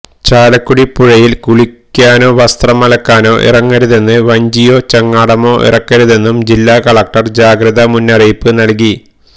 ചാലക്കുടി പുഴയിൽ കുളിക്കാനോ വസ്ത്രം അലക്കാനോ ഇറങ്ങരുതെന്നും വഞ്ചിയോ ചങ്ങാടമോ ഇറക്കരുതെന്നും ജില്ലാ കലക്ടർ ജാഗ്രതാ മുന്നറിയിപ്പ് നൽകി